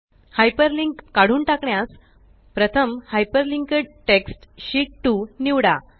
hyperlink काढून टाकण्यास प्रथम हायपरलिंक्ड टेक्स्ट शीत 2 निवडा